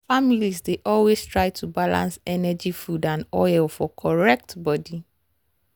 families dey always try to balance energy food and oil for correct body.